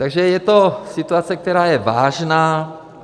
Takže je to situace, která je vážná.